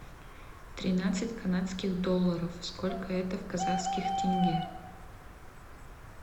тринадцать канадских долларов сколько это в казахских тенге